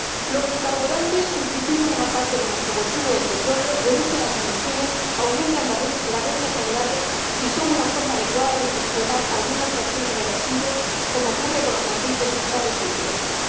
Los biocarburantes sustituyen una parte de nuestro consumo de petróleo, reducen las emisiones, aumentan las rentas agrarias y son una forma adecuada de gestionar algunas fracciones de residuos, como ocurre con los aceites usados, entre otros.